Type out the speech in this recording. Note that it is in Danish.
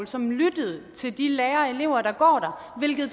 som lyttede til de lærere og elever der går der hvilket